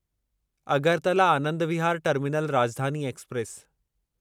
Agartala Anand Vihar terminal Rajdhani express